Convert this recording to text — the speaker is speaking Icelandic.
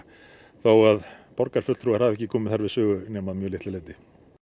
þó að borgarfulltrúar hafi ekki komið þar við sögu nema að mjög litlu leyti